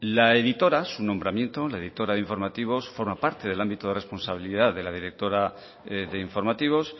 la editora su nombramiento la editora de informativos forma parte del ámbito de responsabilidad de la directora de informativos